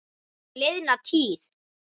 Og liðna tíð.